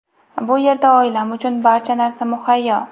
Bu yerda oilam uchun barcha narsa muhayyo.